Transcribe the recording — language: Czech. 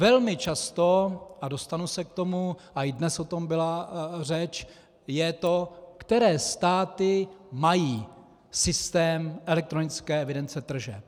Velmi často, a dostanu se k tomu a i dnes o tom byla řeč, je to, které státy mají systém elektronické evidence tržeb.